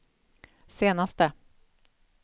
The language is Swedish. senaste